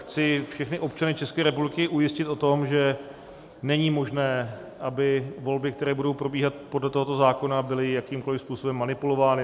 Chci všechny občany České republiky ujistit o tom, že není možné, aby volby, které budou probíhat podle tohoto zákona, byly jakýmkoli způsobem manipulovány.